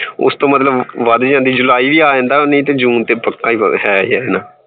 ਉਸਤੋਂ ਮਤਲਬ ਵੱਧ ਜਾਂਦੀ ਏ july ਵੀ ਆ ਜਾਂਦਾ ਏ june ਤੇ ਪੱਕਾ ਹੈ ਹੀ ਹੈ